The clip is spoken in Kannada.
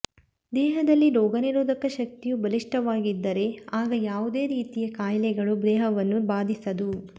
ದೇಹದಲ್ಲಿ ರೋಗನಿರೋಧಕ ಶಕ್ತಿಯು ಬಲಿಷ್ಠವಾಗಿದ್ದರೆ ಆಗ ಯಾವುದೇ ರೀತಿಯ ಕಾಯಿಲೆಗಳು ದೇಹವನ್ನು ಬಾಧಿಸದು